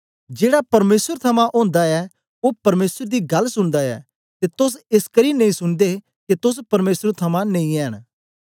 जेड़ा परमेसर थमां ओंदा ऐ ओ परमेसर दी गल्ल सुनदा ऐ ते तोस एसकरी नेई सुनदे के तोस परमेसर थमां नेई ऐंन